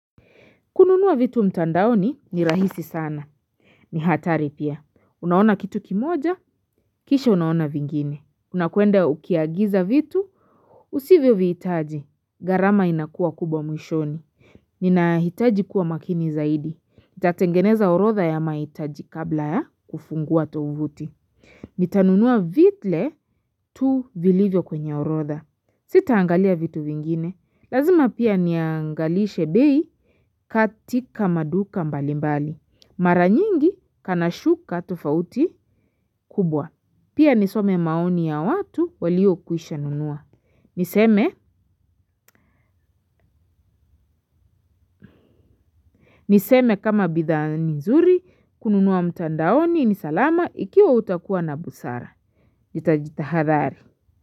Kununua vitu mtandaoni ni rahisi sana. Ni hatari pia. Unaona kitu kimoja, kisha unaona vingine. Unakwenda ukiagiza vitu, usivyovihitaji. Gharama inakua kubwa mwishoni. Ninahitaji kuwa makini zaidi. Nitatengeneza orodha ya maitaji kabla ya kufungua tovuti. Nitanunua vitle tu vilivyo kwenye orodha. Sitaangalia vitu vingine. Lazima pia niangalishe bei. Katika maduka mbalimbali. Mara nyingi kanashuka tofauti kubwa. Pia nisome maoni ya watu waliokwisha nunua. Niseme, niseme kama bidhaa ni nzuri, kununua mtandaoni, ni salama, ikiwa utakuwa na busara. Jitaji tahadhari.